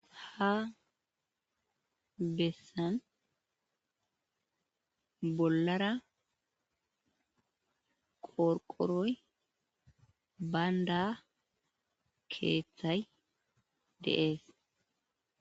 Ha bessan bollara qorqoroy baynda keththay de'ees